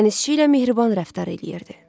Dənizçi ilə mehriban rəftar eləyirdi.